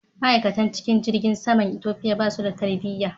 Ma'aikatan cikin jirgin saman Ethiopia basu da tarbiya.